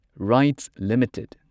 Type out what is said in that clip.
RITES limited